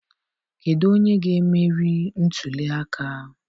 Kedụ onye ga-emeri ntuli aka?